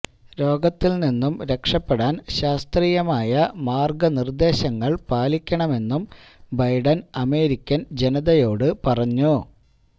രോഗത്തില് നിന്നും രക്ഷപ്പെടാന് ശാസ്ത്രീയമായ മാര്ഗനിര്ദേശങ്ങള് പാലിക്കണമെന്നും ബൈഡന് അമേരിക്കന് ജനതയോട് പറഞ്ഞു